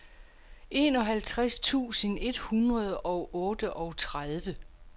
enoghalvtreds tusind et hundrede og otteogtredive